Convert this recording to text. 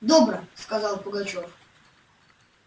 добро сказал пугачёв